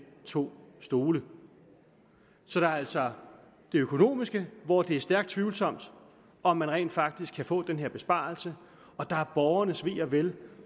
to stole så der er altså det økonomiske hvor det er stærkt tvivlsomt om man rent faktisk kan få den her besparelse og der er borgernes ve og vel